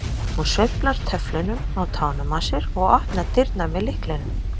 Hún sveiflar töfflunum á tánum á sér og opnar dyrnar með lyklinum.